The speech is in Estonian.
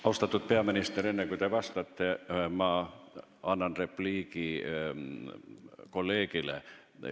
Austatud peaminister, enne kui te vastate, mul on repliik kolleegile.